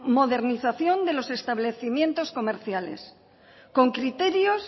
modernización de los establecimientos comerciales con criterios